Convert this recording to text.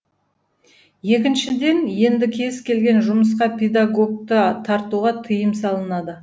екіншіден енді кез келген жұмысқа педагогты тартуға тыйым салынады